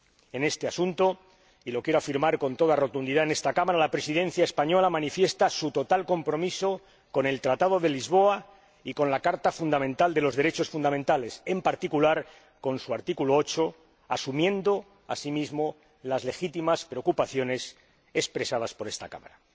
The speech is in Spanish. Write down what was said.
En este asunto —y lo quiero afirmar con toda rotundidad en esta Cámara—, la Presidencia española manifiesta su total compromiso con el Tratado de Lisboa y con la Carta de los Derechos Fundamentales, en particular, con su artículo 8, asumiendo, asimismo, las legítimas preocupaciones expresadas por esta Cámara.